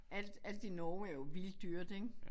Alt alt i Norge er jo vildt dyrt ik